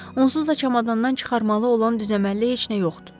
Onsuz da çamadandan çıxarmalı olan düz əməlli heç nə yoxdur.